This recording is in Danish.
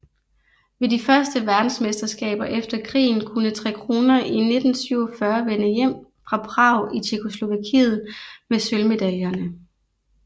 Ved de første verdensmesterskaber efter krigen kunne Tre Kronor i 1947 vende hjem fra Prag i Tjekkoslovakiet med sølvmedaljerne